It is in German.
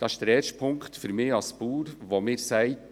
Das ist der erste Punkt, der mir als Bauer sagt: